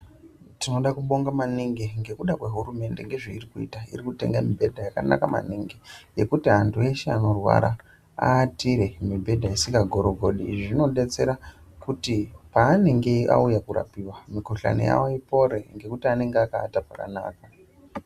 Tinobonga maningi ngekuda kwehurumende ngezvairikuita iri kutenga mibhedha yakanaka maningi nekuti vantu veshe vanorwara vaatire mibhedha isinha gagorigodi ,izvi zvinodetsera kuti pavanenge vouya kunorapiwa mukuhlani yavo ipore ngekuti vanenge vakaata pakanaka.